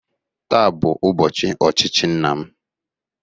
Taa bụ ụbọchị ochichi nna m